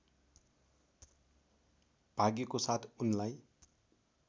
भाग्यको साथ उनलाई